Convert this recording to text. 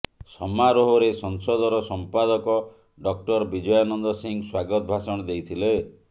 ସମାରୋହରେ ସଂସଦର ସମ୍ପାଦକ ଡକ୍ଟର ବିଜୟାନନ୍ଦ ସିଂହ ସ୍ୱାଗତ ଭାଷଣ ଦେଇଥିଲେ